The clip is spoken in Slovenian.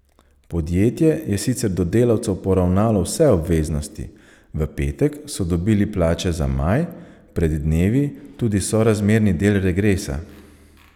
Podjetje je sicer do delavcev poravnalo vse obveznosti, v petek so dobili plače za maj, pred dnevi tudi sorazmerni del regresa.